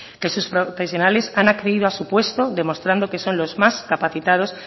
que sus profesionales han accedido a su puesto demostrando que son los más capacitados